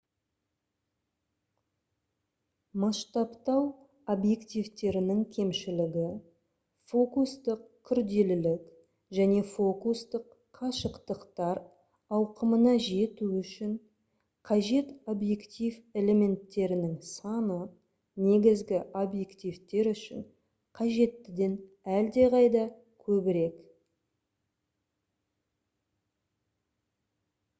масштабтау объективтерінің кемшілігі фокустық күрделілік және фокустық қашықтықтар ауқымына жету үшін қажет объектив элементтерінің саны негізгі объективтер үшін қажеттіден әлдеқайда көбірек